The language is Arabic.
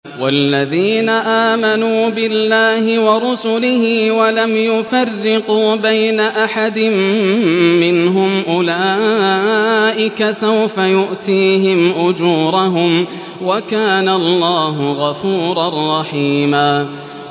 وَالَّذِينَ آمَنُوا بِاللَّهِ وَرُسُلِهِ وَلَمْ يُفَرِّقُوا بَيْنَ أَحَدٍ مِّنْهُمْ أُولَٰئِكَ سَوْفَ يُؤْتِيهِمْ أُجُورَهُمْ ۗ وَكَانَ اللَّهُ غَفُورًا رَّحِيمًا